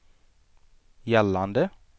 gällande